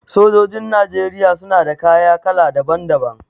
Sojojin Najeriya suna da kaya kala daban daban.